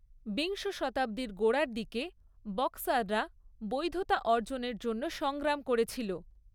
বিংশ শতাব্দীর গোড়ার দিকে, বক্সাররা বৈধতা অর্জনের জন্য সংগ্রাম করেছিল।